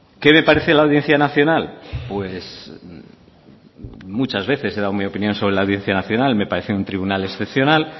qué me parece la audiencia nacional pues muchas veces he dado mi opinión sobre la audiencia nacional me parece un tribunal excepcional